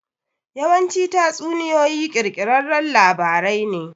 Yawanci tatsuniyoyi ƙirƙirarran labarai ne.